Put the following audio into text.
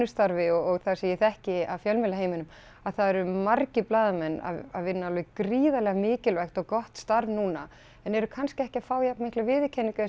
starfi og það sem ég þekki af fjölmiðlaheiminum að það eru margir blaðamenn að vinna alveg gríðarlega mikilvægt og gott starf núna en eru kannski ekki að fá jafn mikla viðurkenningu